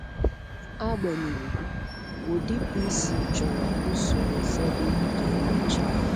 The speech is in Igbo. Agbanyeghị, ụdị PC chọrọ usoro ụfọdụ ka emechaa.